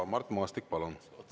Mart Maastik, palun!